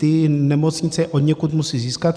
Ty nemocnice je odněkud musí získat.